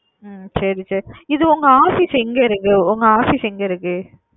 ஒ சரி செரி செரி இது உங்க office எங்க இருக்கு உங்க office எங்க இருக்கு.